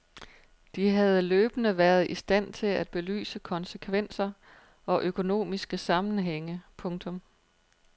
De havde løbende været i stand til at belyse konsekvenser og økonomiske sammenhænge. punktum